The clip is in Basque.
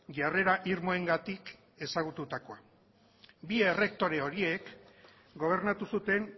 jarrera irmoengatik ezagutukoa bi errektore horiek gobernatu zuten